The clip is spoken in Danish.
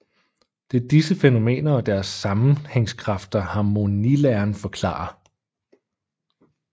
Det er disse fænomener og deres sammenhængskræfter harmonilæren forklarer